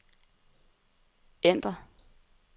ændr